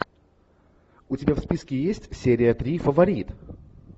у тебя в списке есть серия три фаворит